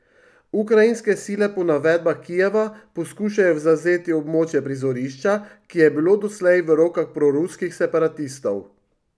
Ukrajinske sile po navedbah Kijeva poskušajo zavzeti območje prizorišča, ki je bilo doslej v rokah proruskih separatistov.